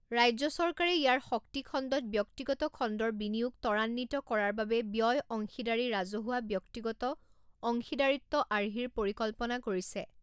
ৰাজ্য চৰকাৰে ইয়াৰ শক্তি খণ্ডত ব্যক্তিগত খণ্ডৰ বিনিয়োগ ত্বৰান্বিত কৰাৰ বাবে ব্যয় অংশীদাৰী ৰাজহুৱা ব্যক্তিগত অংশীদাৰিত্ব আৰ্হিৰ পৰিকল্পনা কৰিছে।